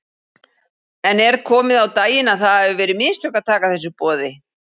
En er komið á daginn að það hafi verið mistök að taka þessu boði?